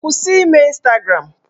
Kwụsị ime Ịnstagram!